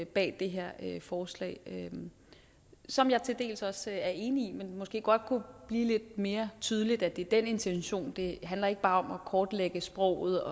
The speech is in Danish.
bag det her forslag som jeg til dels også er enig i men måske godt blive lidt mere tydeligt at det er den intention det handler ikke bare om at kortlægge sproget